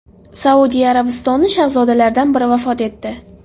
Saudiya Arabistoni shahzodalaridan biri vafot etdi.